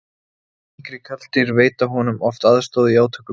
yngri karldýr veita honum oft aðstoð í átökum